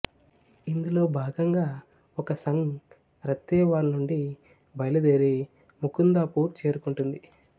ఇందులో భాగంగా ఒక సంగ్ రత్తేవాల్ నుండి బయలుదేరి ముకుందాపూర్ చేరుకుంటుంది